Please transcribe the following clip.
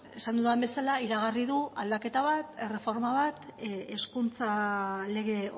esan dudan bezala iragarri du aldaketa bat erreforma bat hezkuntza lege